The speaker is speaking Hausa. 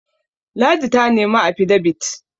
ladi ta nemi afidabit?